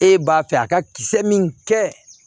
E b'a fɛ a ka kisɛ min kɛ